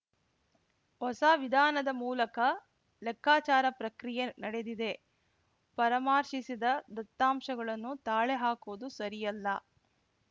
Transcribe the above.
ಹೊಸ ವಿಧಾನದ ಮೂಲಕ ಲೆಕ್ಕಾಚಾರ ಪ್ರಕ್ರಿಯೆ ನಡೆದಿದೆ ಪರಾಮರ್ಶಿಸಿದ ದತ್ತಾಂಶಗಳನ್ನು ತಾಳೆ ಹಾಕುವುದು ಸರಿಯಲ್ಲ